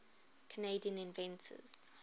canadian inventors